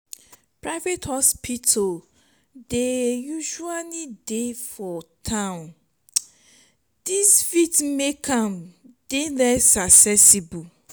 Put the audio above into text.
private hospital dey usually dey for town this fit make am dey less accessible